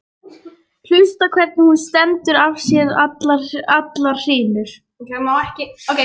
Hlusta hvernig hún stendur af sér allar hrinur.